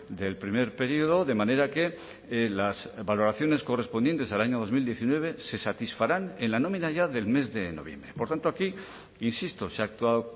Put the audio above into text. del primer período de manera que las valoraciones correspondientes al año dos mil diecinueve se satisfarán en la nómina ya del mes de noviembre por tanto aquí insisto se ha actuado